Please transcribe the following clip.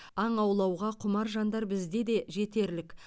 аң аулауға құмар жандар бізде де жетерлік